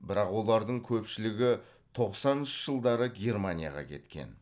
бірақ олардың көпшілігі тоқсаныншы жылдары германияға кеткен